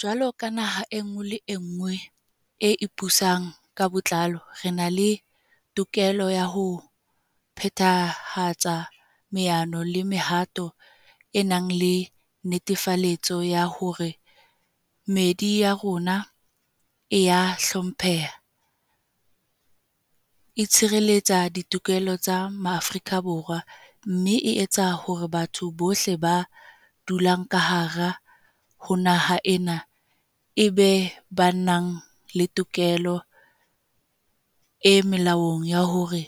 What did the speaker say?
Jwalo ka naha e nngwe le e nngwe e ipusang ka botlalo, re na le tokelo ya ho phethahatsa maano le mehato e nang le netefaletso ya hore meedi ya rona e a hlompheha, e tshireletsa ditokelo tsa Maafrika Borwa, mme e tsa hore batho bohle ba dulang ka hare ho naha ena e be ba nang le tokelo e molaong ya hore